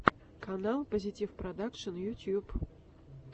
канал позитивпродакшн ютуб